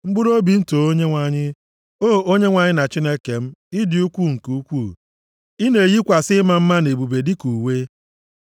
Mkpụrụobi m, too Onyenwe anyị. O Onyenwe anyị na Chineke m, ị dị ukwu nke ukwuu; ị na-eyikwasị ịma mma na ebube dịka uwe.